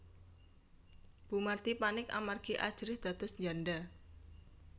Bu Mardi panik amargi ajrih dados njanda